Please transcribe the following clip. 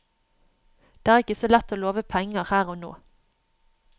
Det er ikke så lett å love penger her og nå.